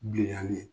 Bilenyali